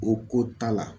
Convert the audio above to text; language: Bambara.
O ko ta la